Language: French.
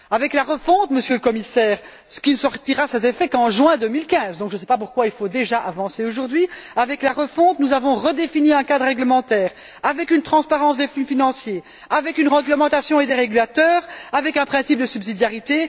Avec la refonte, Monsieur le Commissaire, qui ne produira ses effets qu'en juin2015 donc je ne sais pas pourquoi il faut déjà avancer là dessus aujourd'hui nous avons redéfini un cadre réglementaire, avec une transparence des flux financiers, avec une réglementation et des régulateurs, avec un principe de subsidiarité.